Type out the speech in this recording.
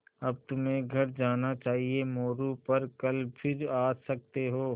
अब तुम्हें घर जाना चाहिये मोरू पर कल फिर आ सकते हो